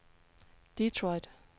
Detroit